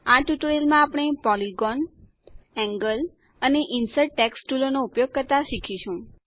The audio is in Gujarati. આ ટ્યુટોરીયલમાં આપણે પોલિગોન એન્ગલ અને ઇન્સર્ટ ટેક્સ્ટ ટુલોનો ઉપયોગ કરતા શીખીશું